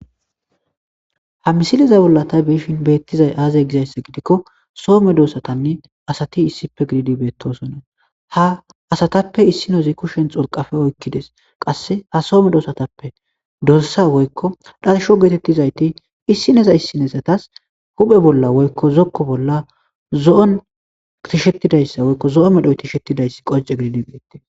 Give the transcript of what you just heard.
​Ha misilaza bollan ta be'ishin betizay aze gizaysa gidikko, so maddosattane asati isshippe giddido betosana. Ha asattapphe issi asi kushen cuurqqa oykaddes, qasse ha so maddosattapphe dorssa woyko t'asho geetettadaysatti isaneza isanetazatass hupphe bolla woyko zoko bolla zoo tishaddaysa, zoo maffay tishaddays qonccidi betes.